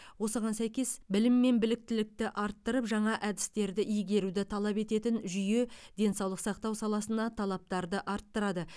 осыған сәйкес білім мен біліктілікті арттырып жаңа әдістерді игеруді талап ететін жүйе денсаулық сақтау саласына талаптарды арттырады